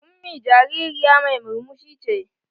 Ummi jaririya mai murmushi ce.